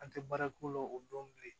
An tɛ baara k'o la o don bilen